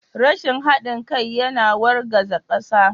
Rashin haɗin kai yana wargaza ƙasa.